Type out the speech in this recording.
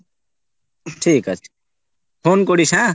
ঠিকাছে phone Chris হ্যাঁ